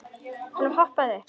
Hann hoppaði upp.